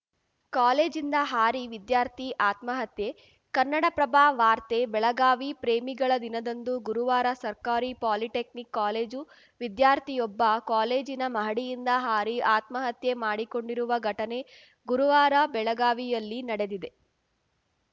ಕಾಲೇಜಿಂದ ಹಾರಿ ವಿದ್ಯಾರ್ಥಿ ಆತ್ಮಹತ್ಯೆ ಕನ್ನಡಪ್ರಭ ವಾರ್ತೆ ಬೆಳಗಾವಿ ಪ್ರೇಮಿಗಳ ದಿನದಂದು ಗುರುವಾರ ಸರ್ಕಾರಿ ಪಾಲಿಟೆಕ್ನಿಕ್‌ ಕಾಲೇಜು ವಿದ್ಯಾರ್ಥಿಯೊಬ್ಬ ಕಾಲೇಜಿನ ಮಹಡಿಯಿಂದ ಹಾರಿ ಆತ್ಮಹತ್ಯೆ ಮಾಡಿಕೊಂಡಿರುವ ಘಟನೆ ಗುರುವಾರ ಬೆಳಗಾವಿಯಲ್ಲಿ ನಡೆದಿದೆ